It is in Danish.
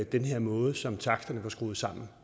den her måde som taksterne var skruet sammen